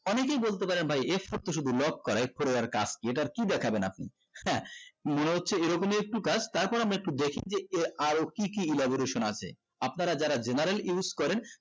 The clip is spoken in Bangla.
অনেককেই বলতে পারে ভাই f four তো শুধু lock করা f four এর কাজ কি এটার কি দেখবেন আপনি হ্যাঁ মনে হচ্ছে এইরকম একটু কাজ তারপর আমরা একটু দেখি যে আরো কি কি elaboration আছে আপনারা যারা general use করেন